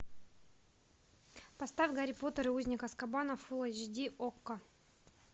поставь гарри поттер и узник азкабана фулл эйч ди окко